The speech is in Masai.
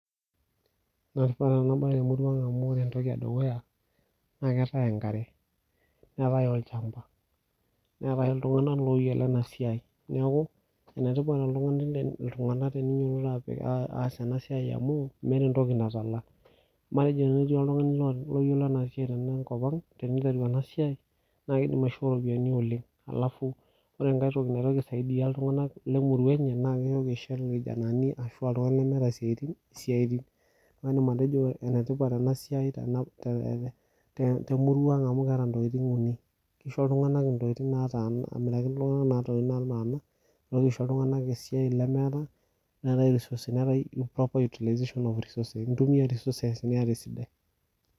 Naa kifaa taa enabae temurua Ang amu Ore entoki edukuya naa keetae enkare neeta olchamba neetae iltungana ooyielo ena siae neeku enetipat iltungana teneinyiototo apik aas enasiae amu meeta entoki natala amu naa tenetii oltungani oyielo tenko Ang teneitereru enasiae naa keidim aishoo rropiani oleng alafu ore entoki naitoki aisaidia iltungana lemurua enye naa keyoko aishoo ilkijanani arashu iltungana lemeeta esiaetini, isiaetin naidim atejo enetipat ena siae temurua Ang amu keeta ntokitin uni keisho iltungana ntokitin amiraki aisho naatana netoiki aishoo iltungana isiatini iltungana lemeeta neeta resources neetae proper utilization of resources intumia resources niyata esidai.